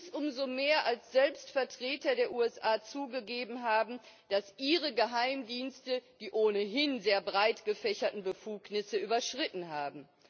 Dies umso mehr, als selbst Vertreter der USA zugegeben haben, dass ihre Geheimdienste die ohnehin sehr breit gefächerten Befugnisse überschritten haben.